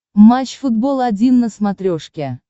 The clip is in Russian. матч футбол один на смотрешке